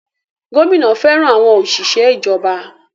Gómìnà fẹràn àwọn òṣìṣẹ́ ìjọba.